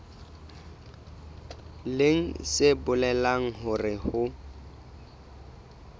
leng se bolelang hore ho